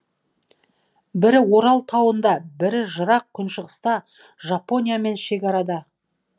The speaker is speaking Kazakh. бірі орал тауында бірі жырақ күншығыста жапониямен шекарада